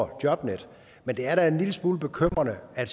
på jobnetdk men det er da en lille smule bekymrende at